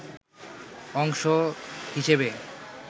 অংশ হিসেবে